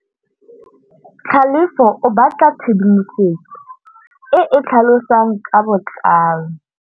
Tlhalefô o batla tshedimosetsô e e tlhalosang ka botlalô.